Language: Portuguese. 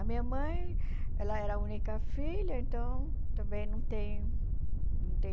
A minha mãe, ela era a única filha, então, também não tem não tem